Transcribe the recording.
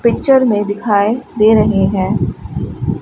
Picture में दिखाए दे रही हैं।